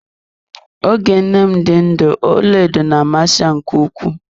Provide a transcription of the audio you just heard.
Oge nne m dị ndụ ọlaedo na amasị ya nke ukwuu.